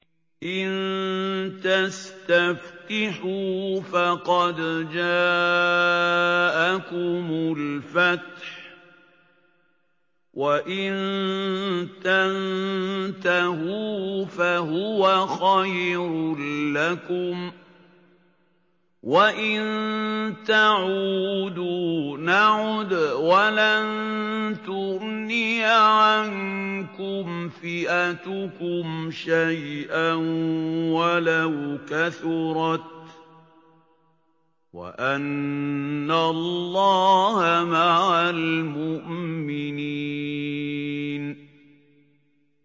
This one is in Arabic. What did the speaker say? إِن تَسْتَفْتِحُوا فَقَدْ جَاءَكُمُ الْفَتْحُ ۖ وَإِن تَنتَهُوا فَهُوَ خَيْرٌ لَّكُمْ ۖ وَإِن تَعُودُوا نَعُدْ وَلَن تُغْنِيَ عَنكُمْ فِئَتُكُمْ شَيْئًا وَلَوْ كَثُرَتْ وَأَنَّ اللَّهَ مَعَ الْمُؤْمِنِينَ